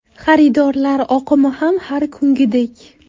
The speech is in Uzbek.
Xaridorlar oqimi ham har kungidek.